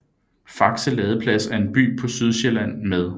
Faxe Ladeplads er en by på Sydsjælland med